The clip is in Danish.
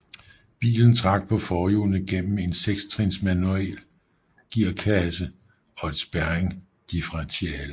Bilen trak på forhjulene gennem en sektrins manuel gearkasse og et spærredifferentiale